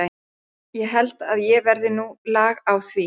Það held ég verði nú lag á því.